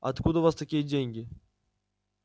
откуда у вас такие деньги